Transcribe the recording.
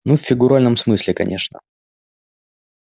ну в фигуральном смысле конечно